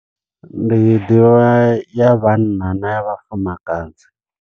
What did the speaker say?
Ndi ḓivha ya vhanna na ya vhafumakadzi.